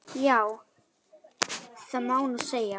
Já, það má nú segja.